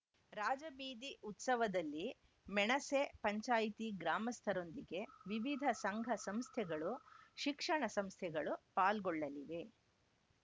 ರಾಜಬೀದಿ ಉತ್ಸವದಲ್ಲಿ ಮೆಣಸೆ ಪಂಚಾಯಿತಿ ಗ್ರಾಮಸ್ಥರೊಂದಿಗೆ ವಿವಿಧ ಸಂಘ ಸಂಸ್ಥೆಗಳು ಶಿಕ್ಷಣ ಸಂಸ್ಥೆಗಳು ಪಾಲ್ಗೊಳ್ಳಲಿವೆ